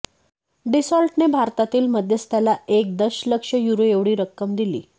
डसॉल्टने भारतातील मध्यस्थाला एक दशलक्ष युरो एवढी रक्कम दिली